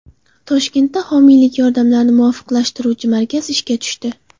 Toshkentda homiylik yordamlarini muvofiqlashtiruvchi markaz ishga tushdi.